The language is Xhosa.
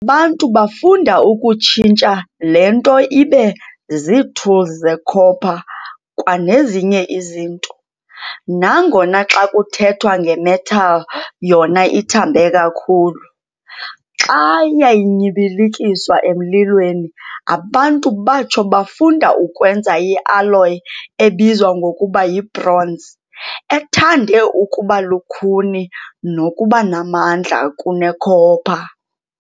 Abantu bafunda ukutshinstha le nto ibe zii-tools zecopper kwanezinye izinto, nangona, xa kuthethwa nge-metal, yona ithambe kakhulu. Xa yayinyibilikiswa emlilweni, abantu batsho bafunda ukwenza i-alloy ebizwa ngokuba yi-bronze, ethande ukuba lukhuni nokuba namandla kune-copper.